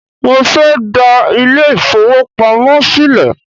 Mo fẹ́ dá ilé ìfowópamọ́ sílẹ̀